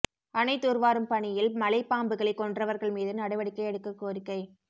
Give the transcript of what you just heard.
அணை தூர்வாரும் பணியில் மலைப் பாம்புகளைக் கொன்றவர்கள் மீது நடவடிக்கை எடுக்கக் கோரிக்கை